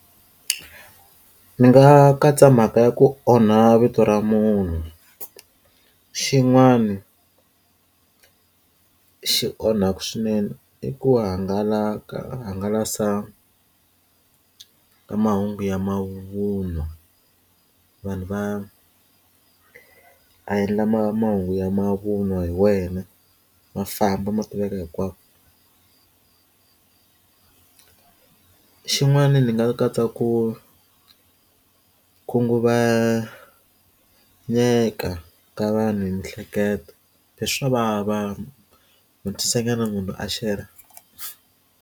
Ni nga katsa mhaka ya ku onha vito ra munhu xin'wani xi onhaka swinene i ku hangalaka hangalasa ka mahungu ya mavun'wa vanhu va a endla ma mahungu ya mavun'wa hi wena ma famba ma tiveka hinkwako ku xin'wana ni nga katsa ku khunguvanyeka ka vanhu hi miehleketo swa vava swi lava munhu a share-ra.